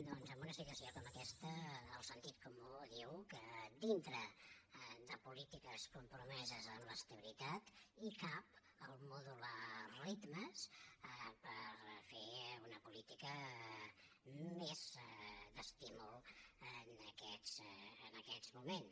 doncs en una situació com aquesta el sentit comú diu que dintre de polítiques compromeses amb l’estabilitat hi cap el fet de modular ritmes per fer una política més d’estímul en aquests moments